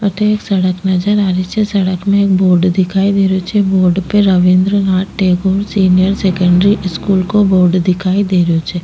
अठे एक सड़क नजर आ रही छे सड़क में एक बोर्ड दिखाई दे रहो छे बोर्ड पे Rabindra Nath Tagore senior secondary school को बोर्ड दिखाई दे रहो छे।